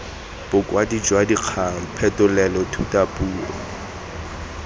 bokwadi jwa dikgang phetolelo thutapuo